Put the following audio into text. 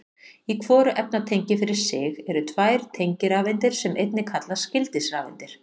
Í hvoru efnatengi fyrir sig eru tvær tengirafeindir sem einnig kallast gildisrafeindir.